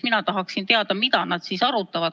Mina tahaksin teada, mida nad siis arutavad.